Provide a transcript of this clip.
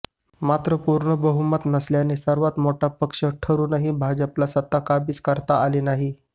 मात्र पूर्ण बहुमत नसल्याने सर्वात मोठा पक्ष ठरूनही भाजपाला सत्ता काबीज करता आली नाही